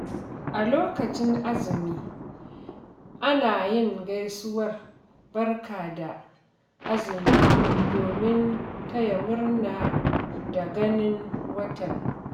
A lokacin Azumi, ana yin gaisuwar "Barka da azumi" domin taya murna da ganin watan.